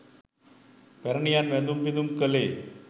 පැරැණියන් වැඳුම් පිදුම් කළේ